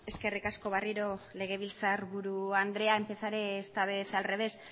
eskerrik asko berriro legebiltzar buru andrea empezaré esta vez al revés